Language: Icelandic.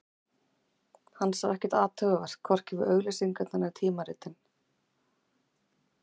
Hann sá ekkert athugavert, hvorki við auglýsingarnar né tímaritin.